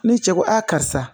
Ni cɛ ko a karisa